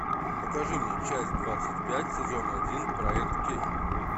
покажи мне часть двадцать пять сезон один проект кей